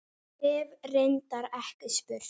Hef reyndar ekki spurt.